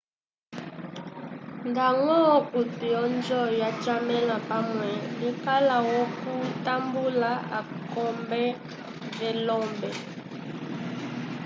ngañgo akuti odjo yachamale pamwe ikala yokutambula akombe velombe